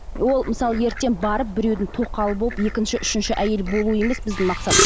ол мысалы ертең барып біреудің тоқалы болып екінші үшінші әйелі болу емес біздің мақсат